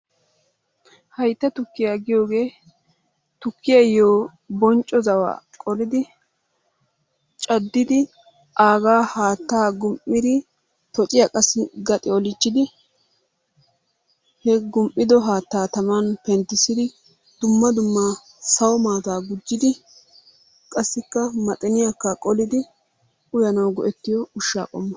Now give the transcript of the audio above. Hayttaa tukiyaa giyogee tukiyayo, bonccoo zawo qoriddi cadidi aggaa hattaa gum'iddi, tocciyaa qassi gaxi olicchidi, he gumido hattaa tamani penttisidi, dumma dumma sawo mattaa gujjidi, qassikka maxiniyaka qoliddi uyanwu go'etiyo ushaa qommo.